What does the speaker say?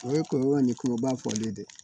O ye kɔlɔlɔ ni koloba fɔlen ye dɛ